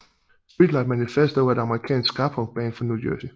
Streetlight Manifesto er et amerikansk skapunkband fra New Jersey